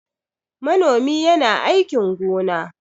Manomi yana aikin gona.